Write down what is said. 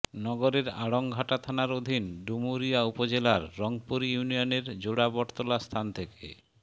নগরের আড়ংঘাটা থানার অধীন ডুমুরিয়া উপজেলার রংপুর ইউনিয়নের জোড়া বটতলা স্থান থেকে